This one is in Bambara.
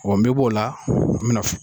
Ɔn n be b'o o la, n be na